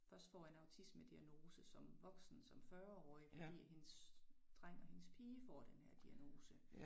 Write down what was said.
Først får en autismediagnose som voksen som 40 årig fordi at hendes dreng og hendes pige får den her diagnose